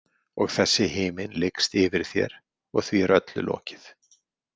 Og þessi himinn lykst yfir þér, og því er öllu lokið.